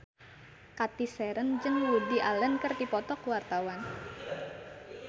Cathy Sharon jeung Woody Allen keur dipoto ku wartawan